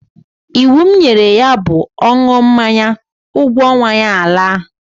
Iwu m nyere ya bụ, ọ ṅụọ mmanya, ụgwọ ọnwa ya alaa!